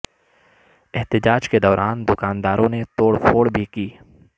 احتجاج کے دوران دکانداروں نے توڑ پھوڑ بھی کی